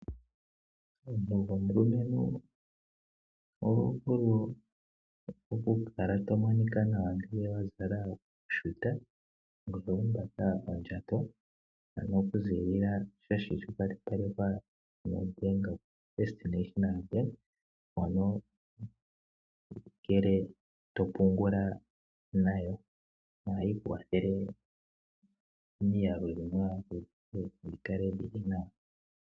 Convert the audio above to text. Omuntu gomulumentu oho vulu okukala to monika nawa ngele wa zala oshuta ngoye to humba ondjato okuziilila pukehe sha kwashilipalekwa kombaanga yoFirst National Bank, ano ngele to pungula nayo ohayi ku kwathele omiyalu dhi kale dhi li nawa.